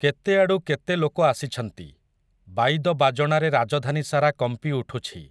କେତେଆଡ଼ୁ କେତେ ଲୋକ ଆସିଛନ୍ତି, ବାଇଦ ବାଜଣାରେ ରାଜଧାନୀସାରା କମ୍ପିଉଠୁଛି ।